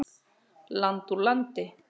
Land úr landi.